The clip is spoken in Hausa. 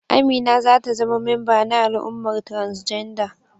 Amina za ta zama memba na al'ummar transgender.